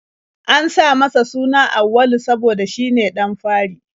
An sa masa suna Auwalu saboda shine ɗan fari.